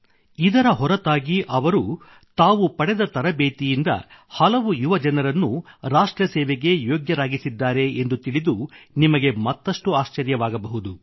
ಇದರ ಹೊರತಾಗಿ ಅವರು ತಾವು ಪಡೆದ ತರಬೇತಿಯಿಂದ ಹಲವು ಯುವಜನರನ್ನು ರಾಷ್ಟ್ರಸೇವೆಗೆ ಯೋಗ್ಯರಾಗಿಸಿದ್ದಾರೆ ಎಂದು ತಿಳಿದು ನಿಮಗೆ ಮತ್ತಷ್ಟು ಆಶ್ಚರ್ಯವಾಗಬಹುದು